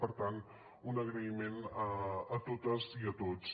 per tant un agraïment a totes i a tots